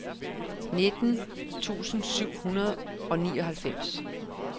nitten tusind syv hundrede og nioghalvfems